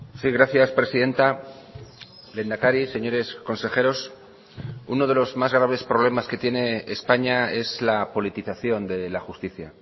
sí gracias presidenta lehendakari señores consejeros uno de los más graves problemas que tiene españa es la politización de la justicia